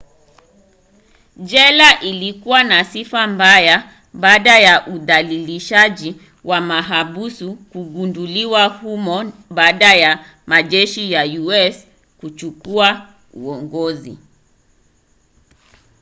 jela ilikuwa na sifa mbaya baada ya udhalilishaji wa mahabusu kugunduliwa humo baada ya majeshi ya us kuchukua uongozi